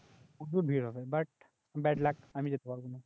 প্রচুর ভিড় হবে বাট ব্যাড লাক আমি যেতে পারব না